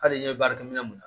Hali n'i ye baarakɛminɛ mun